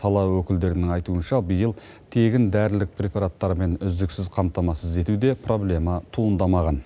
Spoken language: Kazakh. сала өкілдерінің айтуынша биыл тегін дәрілік препараттармен үздіксіз қамтамасыз етуде проблема туындамаған